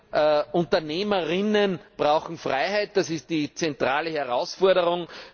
Deshalb Unternehmer brauchen Freiheit, das ist die zentrale Herausforderung!